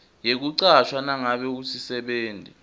yekucashwa nangabe usisebenti